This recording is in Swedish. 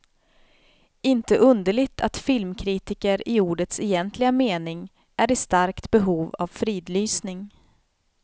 Inte underligt att filmkritiker i ordets egentliga mening är i starkt behov av fridlysning.